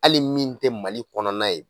Hali min tɛ Mali kɔnɔna ye.